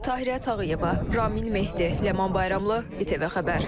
Tahirə Tağıyeva, Ramin Mehdi, Ləman Bayramlı, İTV xəbər.